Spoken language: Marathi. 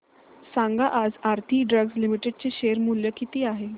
सांगा आज आरती ड्रग्ज लिमिटेड चे शेअर मूल्य किती आहे